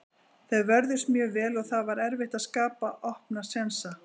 Þeir vörðust mjög vel og það var erfitt að skapa opna sénsa.